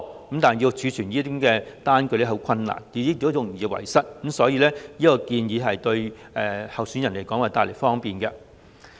可是，要儲存這類開支的單據會很困難，而且容易遺失，所以這項建議對候選人會帶來方便。